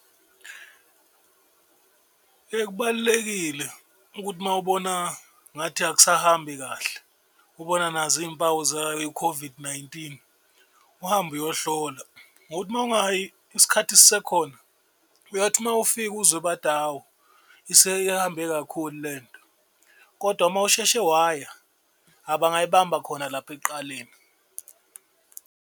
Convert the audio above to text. Kubalulekile ukuthi uma ubona ngathi akusahambi kahle ubona nazo impawu zayo i-COVID-19 uhambe uyohlola ngokuthi uma ungayi isikhathi sisekhona uyathi uma ufika uzwe bathi, hhawu seyihambe kakhulu lento. Kodwa uma usheshe waya bangayibamba khona lapha ekuqaleni.